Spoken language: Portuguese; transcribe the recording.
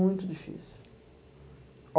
Muito difícil.